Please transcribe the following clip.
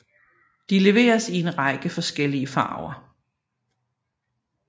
De leveres i en række forskellige farver